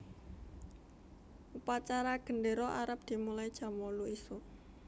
Upacara gendero arep dimulai jam wolu isuk